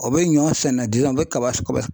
O bɛ ɲɔ sɛnɛ o bɛ kaba